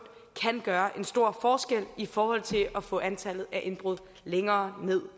kan gøre en stor forskel i forhold til at få antallet af indbrud længere ned